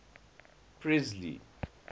presley